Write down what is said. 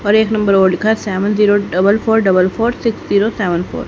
और एक नंबर और लिखा है seven zero double four double four six zero seven four.